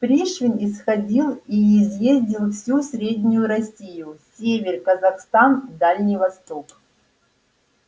пришвин исходил и изъездил всю среднюю россию север казахстан и дальний восток